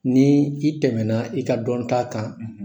Nii i tɛmɛna i ka dɔnta kan,